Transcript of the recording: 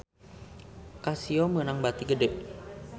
Casio meunang bati gede